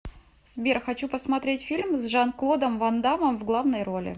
сбер хочу посмотреть фильм с жан клодом вандамом в главной роли